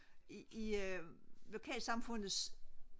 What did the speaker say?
i lokalsamfundets